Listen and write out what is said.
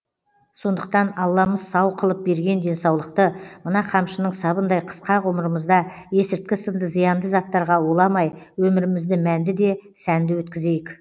сондықтан алламыз сау қылып берген денсаулықты мына қамшының сабындай қысқа ғұмырымызда есірткі сынды зиянды заттарға уламай өмірімізді мәнді де сәнді өткізейік